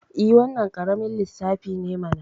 I, wannan ƙaramin lissafi ne mana